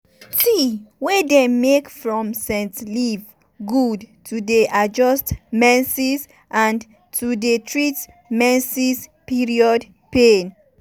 tea wey dem make from scent leaf good to dey adjust menses and to dey treat menses period pain.